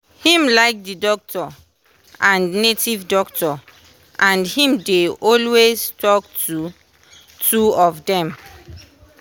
him like the doctor and native doctor and him dey alway talk to two of them.